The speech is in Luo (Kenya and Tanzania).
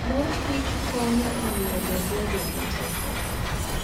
Mor Kichkonyo e miyo dendwa obed gi teko.